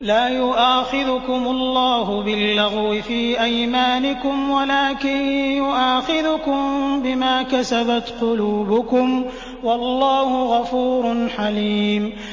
لَّا يُؤَاخِذُكُمُ اللَّهُ بِاللَّغْوِ فِي أَيْمَانِكُمْ وَلَٰكِن يُؤَاخِذُكُم بِمَا كَسَبَتْ قُلُوبُكُمْ ۗ وَاللَّهُ غَفُورٌ حَلِيمٌ